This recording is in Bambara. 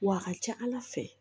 Wa a ka ca ala fɛ